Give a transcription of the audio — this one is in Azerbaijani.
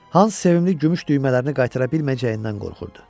Hans sevimli gümüş düymələrini qaytara bilməyəcəyindən qorxurdu.